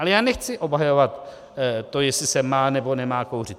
Ale já nechci obhajovat to, jestli se má, nebo nemá kouřit.